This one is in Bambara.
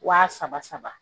Wa saba saba